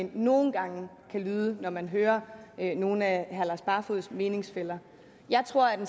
nogle gange kan lyde når man hører nogle af herre lars barfoeds meningsfæller jeg tror at en